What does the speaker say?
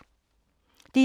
DR1